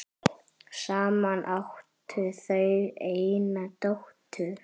Saman áttu þau eina dóttur.